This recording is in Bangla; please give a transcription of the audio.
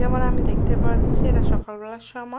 এবার আমি দেখতে পাচ্ছি এটা সকাল বেলার সময় ।